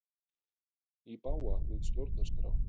Í bága við stjórnarskrá